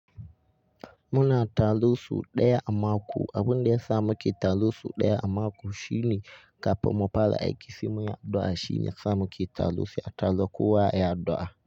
Muna taloso ɗaya a mako. Abin da ya sa muke taro sau ɗaya a mako shine kafin mu fara aiki, simeya addu'a shine sa muke taro. A talo kowa ya yi addu'a.